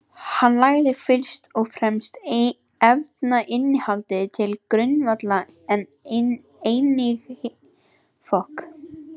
Hann lagði fyrst og fremst efnainnihaldið til grundvallar, en einnig hitastigið.